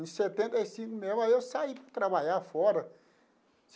Em setenta e cinco mesmo, aí eu saí para trabalhar fora.